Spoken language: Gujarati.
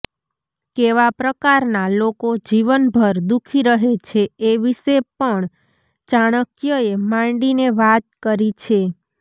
કેવા પ્રકારનાં લોકો જીવનભર દુખી રહે છે એ વિશે પણ ચાકણ્યએ માંડીને વાત કરી છે